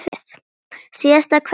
Síðasta kveðja til þín.